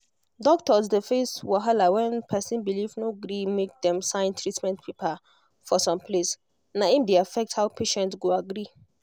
doctors dey face wahala when person belief no gree make dem sign treatment paper for some place na im dey affect how patient go agree